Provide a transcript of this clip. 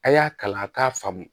A y'a kalan a k'a faamu